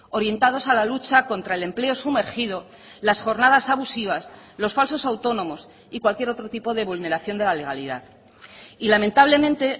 orientados a la lucha contra el empleo sumergido las jornadas abusivas los falsos autónomos y cualquier otro tipo de vulneración de la legalidad y lamentablemente